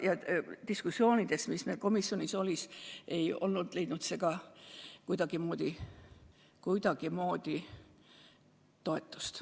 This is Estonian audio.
Ja diskussioonides, mis meil komisjonis olid, ei leidnud see ka kuidagimoodi toetust.